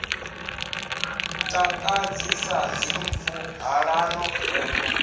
takadzi sa dzimpfu ṱhalano vengo